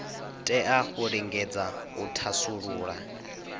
tea u lingedza u thasulula